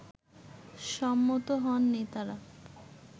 সম্মত হন নেতারা